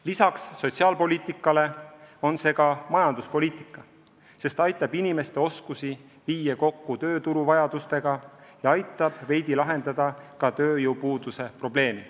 Lisaks sotsiaalpoliitikale on see ka majanduspoliitika, sest aitab inimeste oskusi viia kokku tööturu vajadustega ja aitab veidi lahendada ka tööjõupuuduse probleemi.